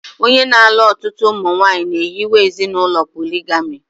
Onye na-alụ ọtụtụ ụmụnwaanyị na-ehiwe ezinụlọ poligami